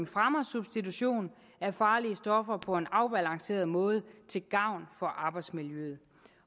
fremmer substitutionen af farlige stoffer på en afbalanceret måde til gavn for arbejdsmiljøet